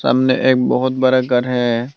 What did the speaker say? सामने एक बहुत बड़ा घर है।